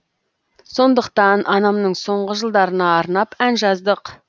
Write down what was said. сондықтан анамның соңғы жылдарына арнап ән жаздық